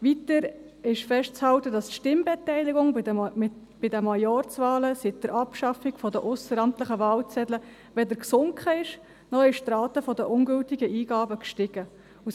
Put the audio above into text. Weiter ist festzuhalten, dass die Stimmbeteiligung bei den Majorzwahlen seit der Abschaffung der ausseramtlichen Wahlzettel weder gesunken, noch die Rate der ungültigen Eingaben gestiegen ist.